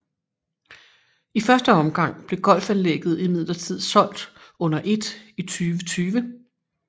I første omgang blev golfanlægget imidlertid solgt under et i 2020